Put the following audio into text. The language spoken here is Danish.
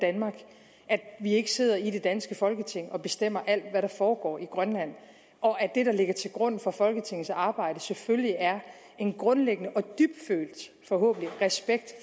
danmark at vi ikke sidder i det danske folketing og bestemmer alt hvad der foregår i grønland og at det der ligger til grund for folketingets arbejde selvfølgelig er en grundlæggende og dybtfølt forhåbentlig respekt